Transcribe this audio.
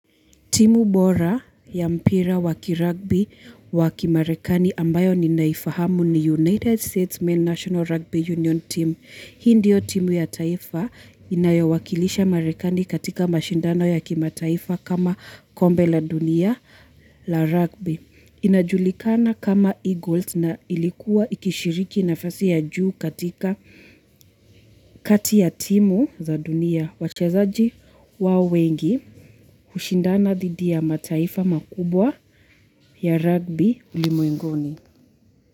Timu bora ya mpira waki rugby waki marekani ambayo ni naifahamu ni United States Men National Rugby Union Team. Hii ndio timu ya taifa inayowakilisha marekani katika mashindano ya kima taifa kama kombe la dunia la rugby. Inajulikana kama Eagles na ilikuwa ikishiriki nafasi ya juu katika kati ya timu za dunia. Wachezaji wa wengi hushindana dhidi ya mataifa makubwa ya rugby ulimwenguni.